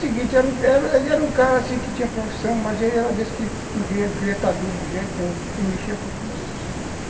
ele era um cara que tinha profissão, mas ele era desse que não queria estar duro de jeito nenhum, ele mexia com tudo.